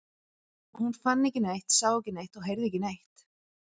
Hún fann ekki neitt, sá ekki neitt og heyrði ekki neitt.